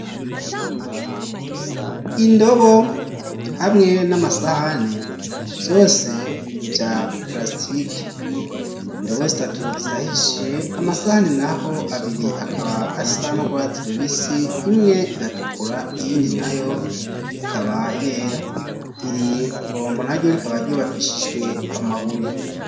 Indobo hamwe n'amasahani vyose vya prasitike, indobo zitatu zirahishiye amasahani nayo abiri akaba asa n'urwatsi rubisi imwe iratukura iyindi nayo ikaba yera ,iri bombo na ryo rikaba ryubakishijwe amabuye.